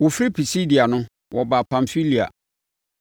Wɔfiri Pisidia no, wɔbaa Pamfilia.